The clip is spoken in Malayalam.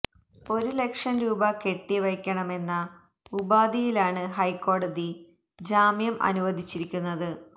ഒരു ലക്ഷം രൂപ കെട്ടി വയ്ക്കണമെന്ന ഉപാധിയിലാണ് ഹൈക്കോടതി ജാമ്യം അനുവദിച്ചിരിക്കുന്നത്